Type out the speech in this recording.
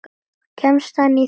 Kemst hann í þitt lið?